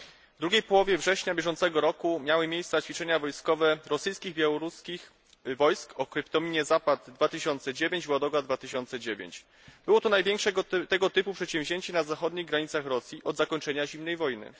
W drugiej połowie września bieżącego roku miały miejsce ćwiczenia rosyjskich i białoruskich wojsk o kryptonimie Zapad 2009, Ładoga 2009. Było to największe tego typu przedsięwzięcie na zachodnich granicach Rosji od zakończenia zimnej wojny.